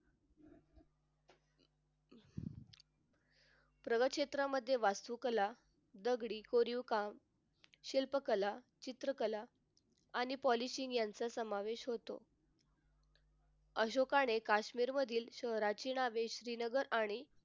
प्रगत क्षेत्रामध्ये वास्तुकला दगडी कोरीव काम शिल्पकला चित्रकला आणि policing यांचा समावेश होतो. अशोकाने काश्मीर मधील शहरांची नावे श्रीनगर आणि